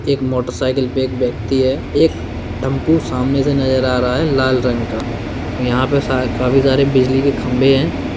एक मोटरसाइकिल पर एक व्यक्ति है एक टेम्पो सामने से नजर आ रहा है लाल रंग का और यहां पे काफी सारे बिजली के खम्बे हैं।